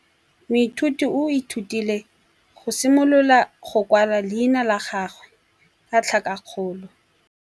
Moithuti o ithutile go simolola go kwala leina la gagwe ka tlhakakgolo.